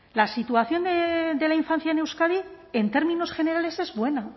la situación de la infancia en euskadi en términos generales es buena